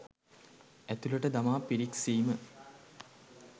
ඇතුලට දමා පිරික්සීම